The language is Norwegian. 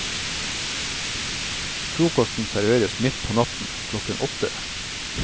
Frokosten serveres midt på natten, klokken åtte.